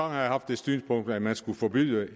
har jeg haft det synspunkt at man skulle forbyde